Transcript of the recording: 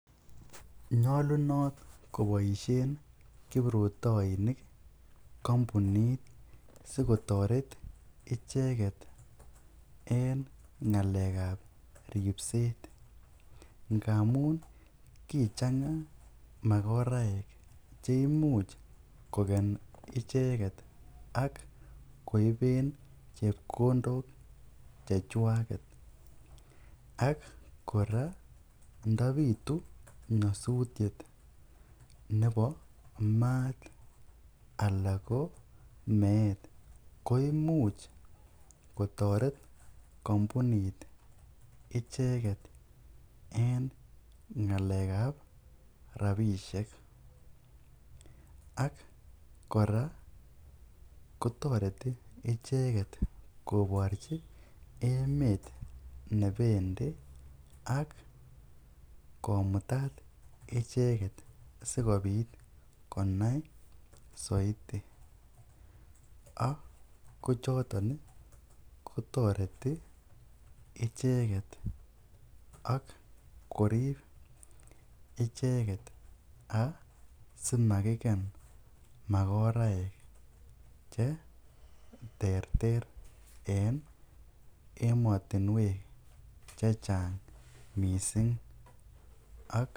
Nyolunot koboisien kiprutoinik kompunit sikotoret icheget en ng'alekb ripset. Ngamun kichang'a magoraekche imuch kong'al icheget ak koiben chepkondok chechwaget. Ak kora ndo bitu nyasutiet nebo maat ana ko meet koimuch kotoret kompunit icheget en ng'alek ab rabishek ak kora kotoreti icheget koborji emet ne bendi ak komutat icheget sikobit konai soiti, ak kochoton kotoreti icheget ak korib icheget asimakiken magoraek che terter en emotinwek che chang mising.